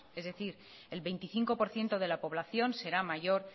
es decir el veinticinco por ciento de la población será mayor